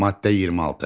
Maddə 26.